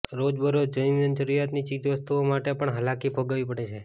રોજબરોજ જીવનજરૂરિયાતની ચીજ વસ્તુઓ માટે પણ હાલાકી ભોગવવી પડે છે